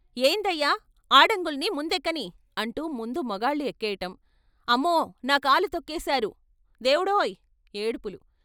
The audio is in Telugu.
" ఏందయ్యా ! ఆడంగుల్ని ముందెక్కనీ " అంటూ ముందు మగాళ్ళు ఎక్కేయటం "అమ్మో నాకాలు తొక్కేశారు దేవుడోయ్ " ఏడుపులు.